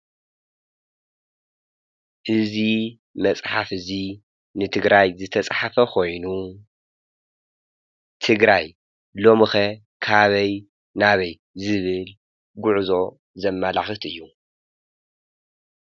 እዚ መፃሓፍ እዚ ንትግራይ ዝተፃሓፈ ኮይኑ ትግራይ ሎምከ ካብይ ናበይ ዝብል ጉዕዞ ዘማላክት እዩ።